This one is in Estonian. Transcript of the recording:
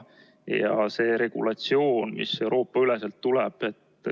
See regulatsioon tuleb Euroopa-üleselt.